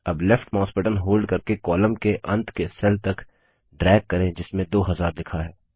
अब left mouse button hold करके column के अंत के सेल तक ड्रैग करें जिसमें 2000 लिखा है